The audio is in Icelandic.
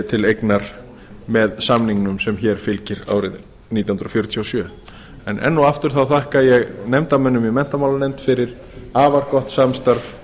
til eignar með samningnum sem hér fylgir árið nítján hundruð fjörutíu og sjö en enn og aftur þakka ég nefndarmönnum í menntamálanefnd fyrir afar gott samstarf